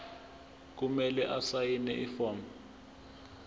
kumele asayine ifomu